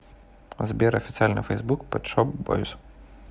сбер официальный фейсбук пет шоп бойз